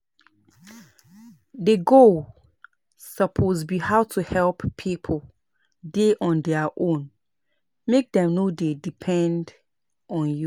The goal suppose be how to help pipo dey on their own, make dem no dey depend on you